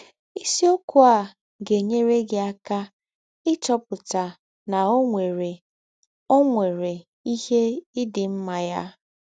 Isiọkwụ a ga - enyere gị aka ịchọpụta na ọ nwere ọ nwere ihe ị dị mma ya!